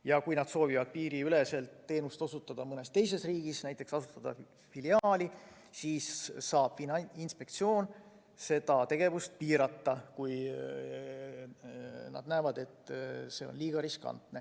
Ja kui nad soovivad osutada teenust piiriüleselt mõnes teises riigis, näiteks asutada filiaali, siis saab Finantsinspektsioon seda tegevust piirata, kui ta näeb, et see on liiga riskantne.